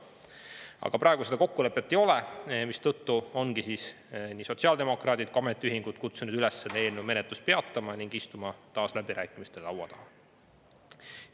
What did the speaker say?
Aga praegu seda kokkulepet ei ole, mistõttu ongi nii sotsiaaldemokraadid kui ka ametiühingud kutsunud üles eelnõu menetlust peatama ning istuma taas läbirääkimiste laua taha.